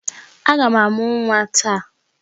Aga m amụ nwa taa.